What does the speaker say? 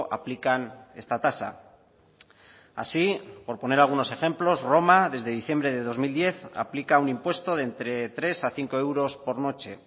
aplican esta tasa así por poner algunos ejemplos roma desde diciembre de dos mil diez aplica un impuesto de entre tres a cinco euros por noche